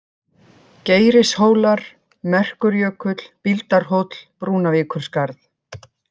Geirishólar, Merkurjökull, Bíldarhóll, Brúnavíkurskarð